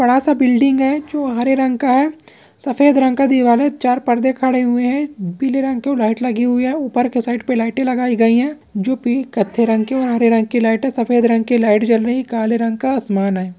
बड़ा सा बिल्डिंग है जो हरे रंग का है सफेद रंग का दीवाल है चार परदे खड़े हुए हैं। पीले रंग की वो लाइट लगी हुई है। ऊपर के साइड पे लाइटे लगाई गयी है जो की कत्थे रंग की और हरे रंग की लाइट हैं। सफेद रंग की लाइट जल रही है काले रंग का आसमान है।